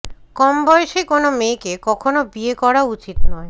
কম বয়সী কোনো মেয়েকে কখনও বিয়ে করা উচিত নয়